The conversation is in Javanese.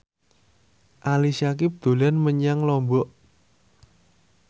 Ali Syakieb dolan menyang Lombok